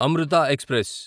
Amrutha express